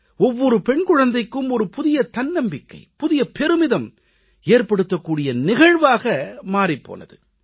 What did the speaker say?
ஒவ்வொரு பெண் குழந்தைக்கும் புதிய தன்னம்பிக்கை புதிய பெருமிதம் ஏற்படுத்தக் கூடிய நிகழ்வாக மாறிப் போனது